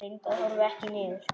Reyndu að horfa ekki niður.